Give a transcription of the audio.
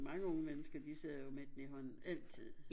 Mange unge mennesker de sidder jo med den i hånden altid